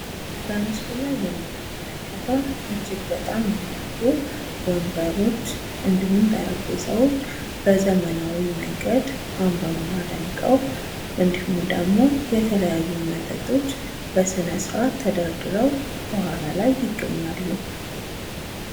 በምስሉ ላይ የምንመለከተው እጅግ በጣም የሚያምሩ ወንበሮች እንዲሁም ጠረንጴዛዎች በዘመናዊ መንገድ አምረውና ደምቀው እንዲሁም ደግሞ የተለያዩ መጠጦች በስነስርዓት ተደርድረው ከኋላ ላይ ይገኛሉ ።